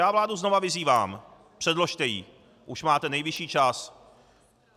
Já vládu znova vyzývám: Předložte ji, už máte nejvyšší čas!